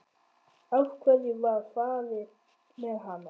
Af hverju var farið með hana?